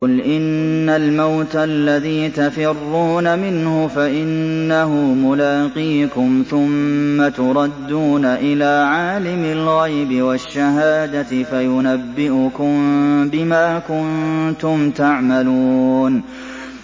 قُلْ إِنَّ الْمَوْتَ الَّذِي تَفِرُّونَ مِنْهُ فَإِنَّهُ مُلَاقِيكُمْ ۖ ثُمَّ تُرَدُّونَ إِلَىٰ عَالِمِ الْغَيْبِ وَالشَّهَادَةِ فَيُنَبِّئُكُم بِمَا كُنتُمْ تَعْمَلُونَ